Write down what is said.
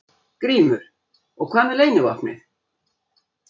GRÍMUR: Og hvað með leynivopnið?